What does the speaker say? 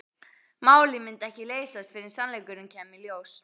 Málið myndi ekki leysast fyrr en sannleikurinn kæmi í ljós.